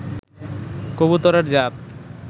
কবুতরের জাত